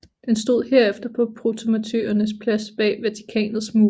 Den stod herefter på Protomartyrenes Plads bag Vatikanets mure